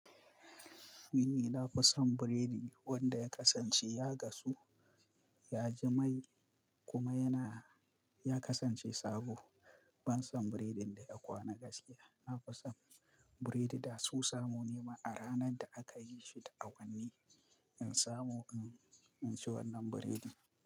Ni na fi son biredi wanda ya kasance ya gasu, ya ji mai kuma yana, ya kasance sabo. Ban son biredin da ya kwana gaskiya na fi son biredi da so samu ne ma a ranar da aka yi shi da awanni in samu, in ci wannan biredin.